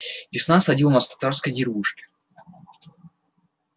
весна осадила нас в татарской деревушке